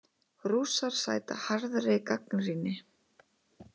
Rússar sæta harðri gagnrýni